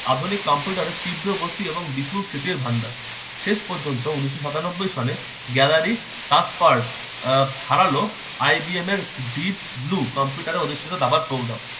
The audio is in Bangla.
আধুনিক কম্পিউটার তীব্র গতি এবং বিপুল স্মৃতির ভান্ডার শেষ পর্যন্ত উন্নিষ্য সাতানব্বই সনে gallary kaspat kharalo IDM এর কম্পিউটারে প্রদর্শিত দাবার pogramme